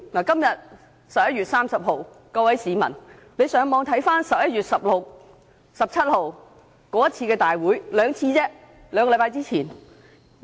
今天是11月30日，各位市民可上網翻看11月15日及16日那次會議的過程。